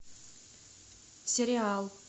сериал